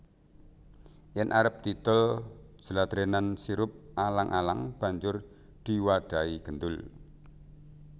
Yen arep didol jladrenan sirup alang alang banjur diwadhahi gendul